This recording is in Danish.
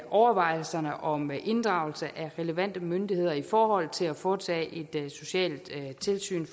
overvejelser om inddragelse af relevante myndigheder i forhold til at foretage et socialt tilsyn